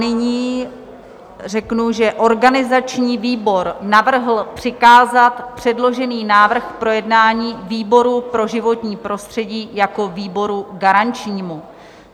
Nyní řeknu, že organizační výbor navrhl přikázat předložený návrh k projednání výboru pro životní prostředí jako výboru garančnímu.